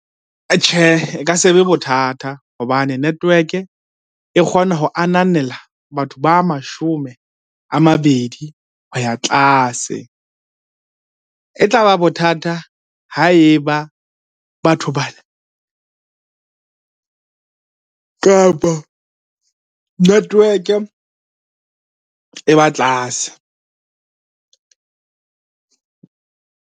E ka se be bothata hobane network-e e kgona ho ananela batho ba mashome a mabedi ho ya tlase. E tla ba bothata ha e ba batho bana, kapa network-e e ba tlase.